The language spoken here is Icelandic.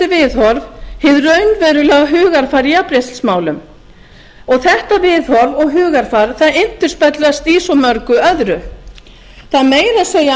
viðhorf hið raunverulega hugarfar í jafnréttismálum þetta viðhorf og hugarfar endurspeglast í svo mörgu öðru það meira að segja